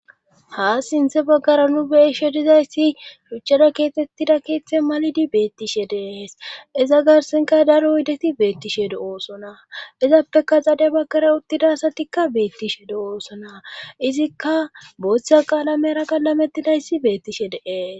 Ha sinthe baggara nu beishe dizayssi shuchchada keetettida keeththe malidi beettishe dees iza garsenka daro oydeti beettishe do'oosona izappeka xade baggara uttida asatikka beettishe do'oosona izikka booththa qaalamera qalametidayssi beettishe deees.